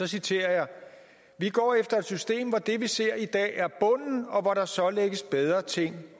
citerer vi går efter et system hvor det vi ser i dag er bunden og hvor der så lægges bedre ting